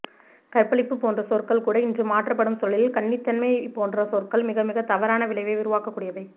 கற்பழிப்பு போன்ற சொற்கள்கூட இன்று மாற்றப்படும் சூழலில் கன்னித்தன்மை போன்ற சொற்கள் மிகமிகத் தவறான விளைவை உருவாக்கக்கூடியவை